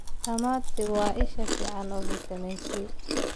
Tamati waa isha fiican ee fiitamiin C.